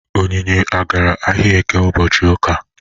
Onyinye agara ahịa Eke ụbọchị ụka?